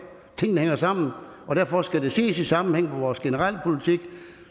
tingene hænger sammen derfor skal det ses i sammenhæng med vores generelle politik